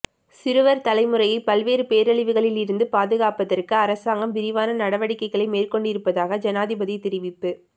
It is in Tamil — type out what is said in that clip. சிறுவர் தலைமுறையை பல்வேறு பேரழிவுகளிலிருந்து பாதுகாப்பதற்கு அரசாங்கம் விரிவான நடவடிக்கைகளை மேற்கொண்டிருப்பதாக ஜனாதிபதி தெரிவிப்பு